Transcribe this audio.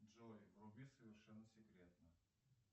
джой вруби совершенно секретно